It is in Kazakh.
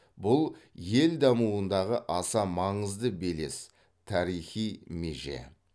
бұл ел дамуындағы аса маңызды белес тарихи меже